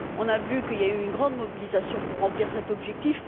On a vu qu'il y avait une grande mobilisation pour remplir cet objectif.